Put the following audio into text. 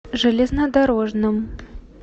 железнодорожном